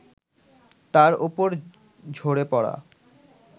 তার ওপর ঝরে পড়া